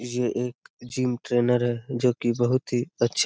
ये एक gym trainer है जो की बहुत ही अच्छे --